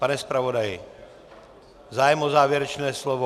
Pane zpravodaji, zájem o závěrečné slovo?